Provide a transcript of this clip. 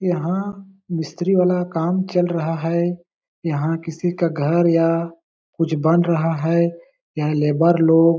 यहाँ मिस्री वाला काम चल रहा है यहाँ किसी का घर या कुछ बन रहा है यहाँ लेबर लोग --